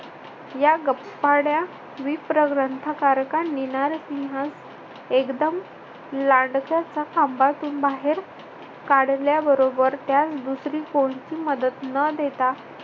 या गप्पाड्या विप्र ग्रंथकारकांनी नरसिंहस एकदम खांबातून बाहेर काढल्याबरोबर त्यास दुसरी कोणती मदत न देता